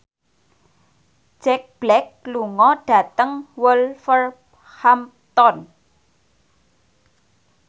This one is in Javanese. Jack Black lunga dhateng Wolverhampton